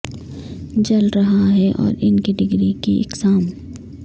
جل رہا ہے اور ان کی ڈگری کی اقسام